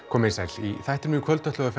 komið þið sæl í þættinum í kvöld ætlum við